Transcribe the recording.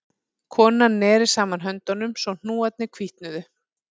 Konan neri saman höndunum svo hnúarnir hvítnuðu